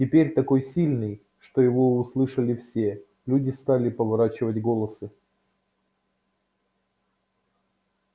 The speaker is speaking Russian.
теперь такой сильный что его услышали все люди стали поворачивать головы